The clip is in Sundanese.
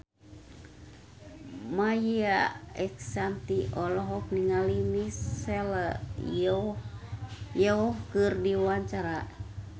Maia Estianty olohok ningali Michelle Yeoh keur diwawancara